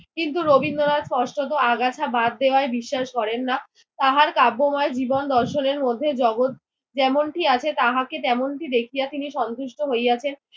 কিন্তু রবীন্দ্রনাথ স্পষ্টত আগাছা বাদ দেওয়ায় বিশ্বাস করেন না। তাহার কাব্যময় জীবন দর্শনের মধ্যে জগৎ যেমনটি আছে তাহাকে তেমনটি দেখিয়া তিনি সন্তুষ্ট হইয়াছেন।